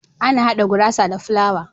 Ana hada gurasa da fulawa